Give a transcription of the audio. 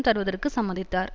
தருவதற்கு சம்மதித்தார்